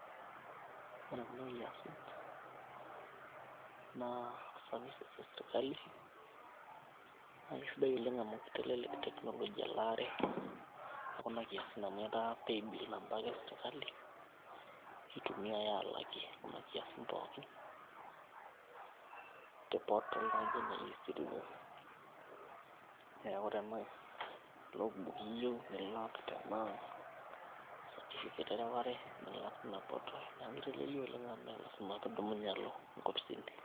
Ore kuna kiasin naa services e sirkali naa kesidai oleng' amu kitelelek teknology elaare e kuna kiasin amu etaa paybill ake nabo e sirkali ninye itumiaai aalakie kuna kiasin pookin te portal naji ene eCitizen neeku tenaa logbook iyieu nilak, tenaa certificate ereware nilak tina portal neeku etelelia amu meekure aa lasima pee idumunye alo nkopisini.